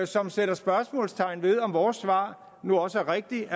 som sætter spørgsmålstegn ved om vores svar nu også er rigtigt